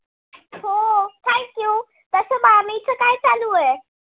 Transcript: आलू आहे.